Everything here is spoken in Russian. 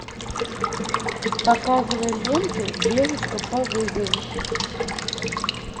показывай ленту девушка по вызову